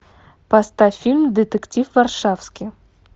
поставь фильм детектив варшавски